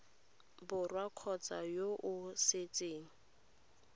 borwa kgotsa yo o setseng